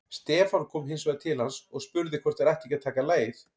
Stefán kom hins vegar til hans og spurði hvort þeir ættu ekki að taka lagið.